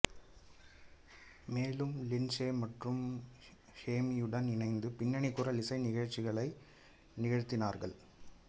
மேலும் லிண்ட்சே மற்றும் ஹெம்பியுடன் இணைந்து பின்னணி குரல் இசை நிகழ்ச்சிகளை நிகழ்த்தினார்